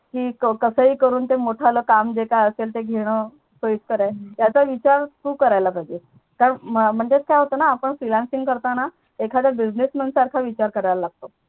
कि कस हि करून मोठंल काम घेता आला तर घेणं सोयीस्कर आहे याचा विचार तू करायला पाहिजेस म्हणज़ेच काय होत ना Freelancing करताना एखाद्या Businessman सारखा विचार करावा लागतो